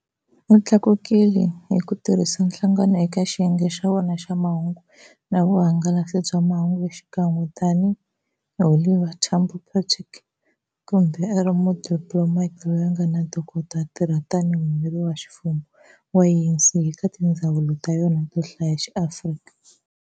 U tlakukile hiku tirhisa nhlangano eka xiyenge xa wona xa mahungu na vuhangalasi bya mahungu xikan'we na tani hi Oliver Tambo 's protégé, kambe ari mudiplomati loyi anga na ntokoto, a tirha tani hi muyimeri wa ximfumo wa ANC eka tindzhawu ta yona to hlaya ta xiAfrika.